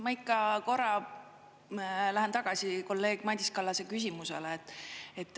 Ma ikka korra lähen tagasi kolleeg Madis Kallase küsimusele.